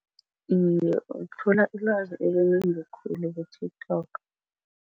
Iye, uthola ilwazi einengi khulu ku-TikTok.